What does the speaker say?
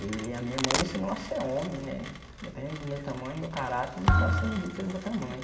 E a minha mãe me ensinou a ser homem né, independente do meu tamanho meu caráter, não pode ser medido pelo meu tamanho.